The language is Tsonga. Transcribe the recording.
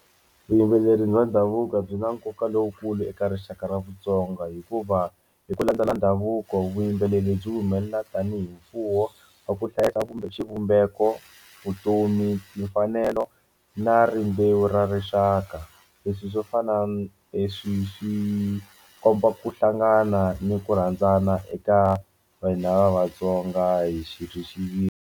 Vuyimbeleri bya ndhavuko byi na nkoka lowukulu eka rixaka ra Vatsonga hikuva hi ku landzela ndhavuko vuyimbeleri byi humelela tanihi mfuwo wa ku hlayisa xivumbeko vutomi mfanelo na rimbewu ra rixaka leswi swo fana leswi swi komba ku hlangana ni ku rhandzana eka vanhu lava va Vatsonga hi xi .